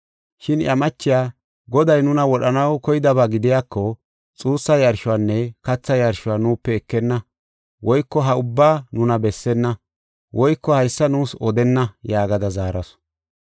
Shin iya machiya, “Goday nuna wodhanaw koydaba gidiyako, xuussa yarshuwanne katha yarshuwa nuupe ekenna woyko ha ubbaa nuna bessenna woyko haysa nuus odenna” yaagada zaarasu.